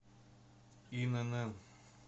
инн